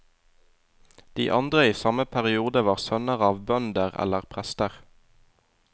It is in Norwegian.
De andre i samme periode var sønner av bønder eller prester.